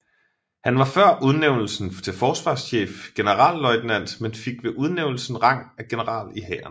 Han var før udnævnelsen til forsvarschef generalløjtnant men fik ved udnævnelsen rang af general i Hæren